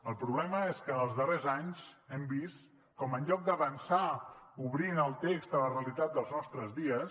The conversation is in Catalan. el problema és que en els darrers anys hem vist com en lloc d’avançar obrint el text a la realitat dels nostres dies